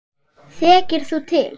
Þekkir þú til?